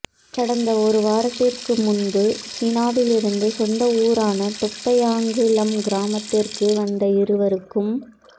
கடந்த ஒரு வாரத்திற்கு முன்பு சீனாவில் இருந்து சொந்த ஊறான தொப்பையாங்குளம் கிராமத்திற்கு வந்த இருவருக்கும்